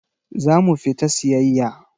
Za mu fita siyayya.